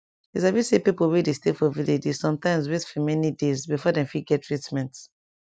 you sabi say pipo wey dey stay for village dey sometimes wait fir many days before dem fit get treatment